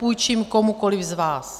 Půjčím komukoliv z vás.